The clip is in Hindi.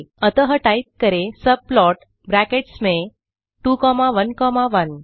अतः टाइप करें सबप्लॉट ब्रैकेट्स में 2 कॉमा 1 कॉमा 1